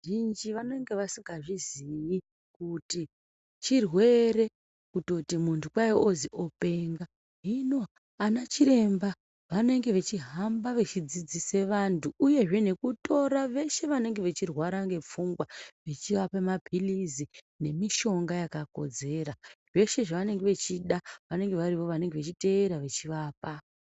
Vazhinji vanenge vasingazviziyi kuti chirwere kutoti muntu kwai ozi openga. Hino anachiremba vanenge vechihamba vechidzidzisa vantu uyezve nekutora veshe vanenge veirwara nepfungwa vechivapa maphilizi nemishonga yakakodzera. Zveshe zvavanenge vachida vanenge varivo vechiteera vechivapa.